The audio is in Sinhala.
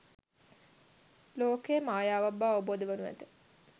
ලෝකය මායාවක් බව අවබෝධ වනු ඇත.